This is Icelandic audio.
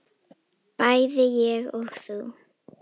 bæði ég og þú.